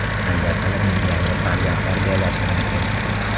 Qanday qilib millioner farzand tarbiyalash mumkin?